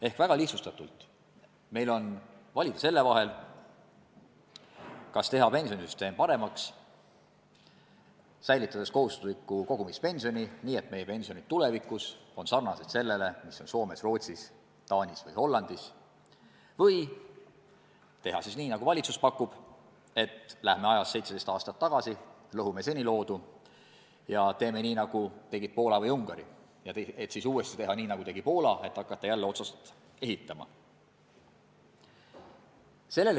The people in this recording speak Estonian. Ehk väga lihtsustatult: meil on valida selle vahel, kas teha pensionisüsteem paremaks, säilitades kohustusliku kogumispensioni, nii et meie pensionid on tulevikus sarnased nendega, mis on Soomes, Rootsis, Taanis ja Hollandis, või teha nii, nagu valitsus pakub, et läheme ajas 17 aastat tagasi, lõhume seni loodu ja teeme nii, nagu tegid Poola ja Ungari, et siis uuesti teha nii, nagu tegi Poola, hakates jälle otsast ehitama.